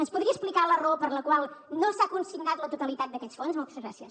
ens podria explicar la raó per la qual no s’ha consignat la totalitat d’aquests fons moltes gràcies